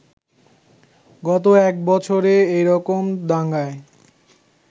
গত এক বছরে এরকম দাঙ্গায়